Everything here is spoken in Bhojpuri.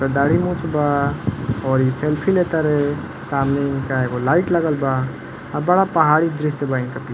दाढ़ी मूँछ बा और ई सेल्फ़ी ले तड़े। सामने इनका एगो लाइट लगल बा। आ बड़ा पहाड़ी दृश्य बा। इनके पी --